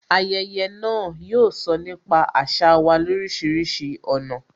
Ayẹyẹ náà, yóò sọ nípa àṣà wa lorisirisi ọ̀nà